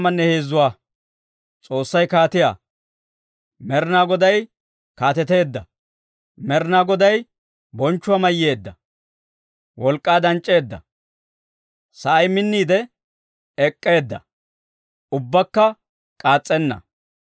Med'inaa Goday kaateteedda! Med'inaa Goday Bonchchuwaa mayyeedda; wolk'k'aa danc'c'eedda. Sa'ay minniide ek'k'eedda; ubbakka k'aas's'enna.